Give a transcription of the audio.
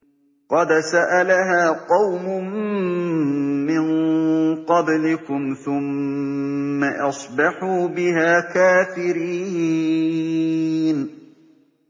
قَدْ سَأَلَهَا قَوْمٌ مِّن قَبْلِكُمْ ثُمَّ أَصْبَحُوا بِهَا كَافِرِينَ